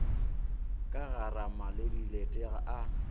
ka garama le dilete a